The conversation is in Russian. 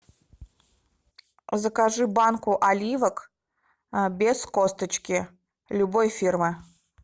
закажи банку оливок без косточки любой фирмы